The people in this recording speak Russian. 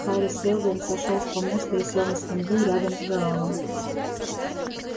хари сэлдон сошёл с помоста и сел на скамью рядом с гаалом